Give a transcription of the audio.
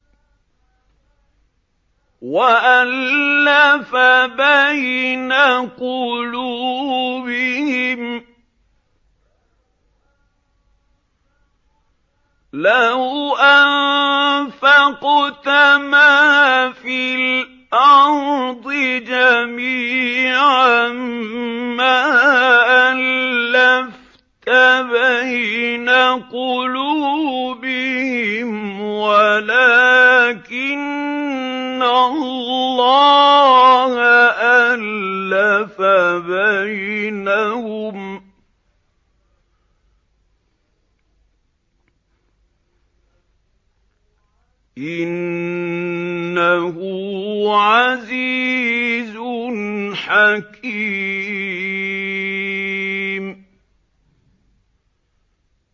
وَأَلَّفَ بَيْنَ قُلُوبِهِمْ ۚ لَوْ أَنفَقْتَ مَا فِي الْأَرْضِ جَمِيعًا مَّا أَلَّفْتَ بَيْنَ قُلُوبِهِمْ وَلَٰكِنَّ اللَّهَ أَلَّفَ بَيْنَهُمْ ۚ إِنَّهُ عَزِيزٌ حَكِيمٌ